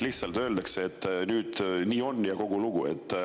Lihtsalt öeldakse, et nüüd nii on, ja kogu lugu.